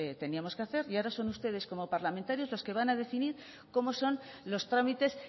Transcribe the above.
teníamos que hacer y ahora son ustedes como parlamentarios los que van a decidir cómo son los trámites